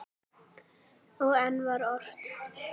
Og enn var ort.